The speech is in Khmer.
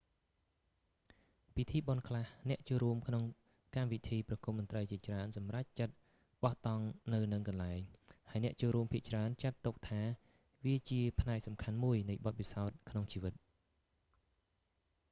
ពិធីបុណ្យខ្លះ អ្នកចូលរួមក្នុងកម្មវិធីប្រគុំតន្ត្រីជាច្រើនសម្រេចចិត្តបោះតង់នៅនឹងកន្លែង ហើយអ្នកចូលរួមភាគច្រើនចាត់ទុកថាវាជាផ្នែកសំខាន់មួយនៃបទពិសោធន៍ក្នុងជីវិត